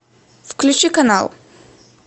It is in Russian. включи канал